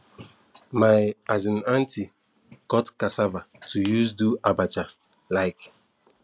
my um aunty cut cassava to use do abacha um